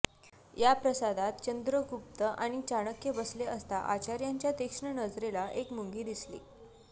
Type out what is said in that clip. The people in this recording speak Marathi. या प्रासादात चंद्रगुप्त आणि चाणक्य बसले असता आचार्यांच्या तीक्ष्ण नजरेला एक मुंगी दिसली